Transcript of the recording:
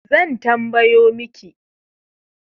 Zan tambayo miki